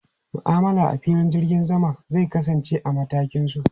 Ma'amala a filin jirgin sama zai kasance a matakin su.